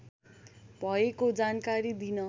भएको जानकारी दिन